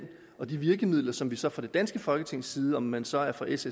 og de virkemidler som vi så fra det danske folketings side om man så er fra s